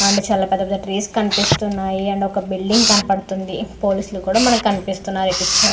and పెద్ద పెద్ద trees కనిపిస్తున్నాయి ఒక బిల్డింగ్ కనబడతుంది పోలీస్ లు కూడా మనకి కనపడుతున్నారు ఈ పిక్చర్ --